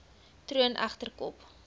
troon egter kop